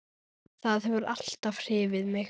Það hefur alltaf hrifið mig.